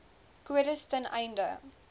kodes ten einde